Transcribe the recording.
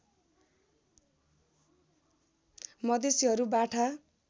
मधेसीहरू बाठा